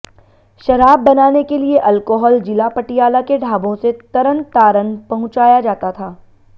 शराब बनाने के लिए अल्कोहल जिला पटियाला के ढाबों से तरनतारन पहुंचाया जाता था